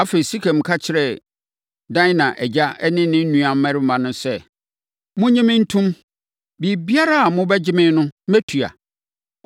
Afei, Sekem ka kyerɛɛ Dina agya ne ne nuammarima no sɛ “Monnye me ntom. Biribiara a mobɛgye me no, mɛtua.